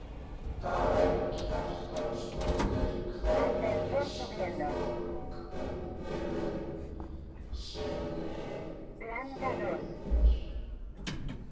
Karen Kjartansdóttir: Hvernig lýsti fólk upplifun sinni fyrir þér?